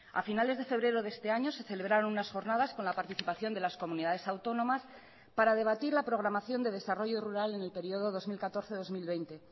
a finales de febrero de este año se celebraron unas jornadas con la participación de las comunidades autónomas para debatir la programación de desarrollo rural en el período dos mil catorce dos mil veinte